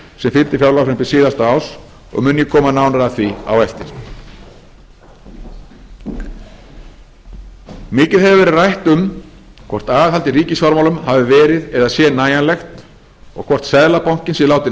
sem fylgdi fjárlagafrumvarpi síðasta árs og mun ég koma nánar að því á eftir mikið hefur verið rætt um hvort aðhald í ríkisfjármálum hafi verið eða sé nægilegt og hvort seðlabankinn sé látinn einn um